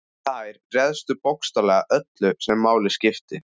Þær réðu bókstaflega öllu sem máli skipti.